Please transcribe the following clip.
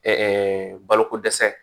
Ɛɛ baloko dɛsɛ